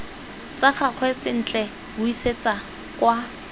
tsa gagwe sentle buisetsa kwa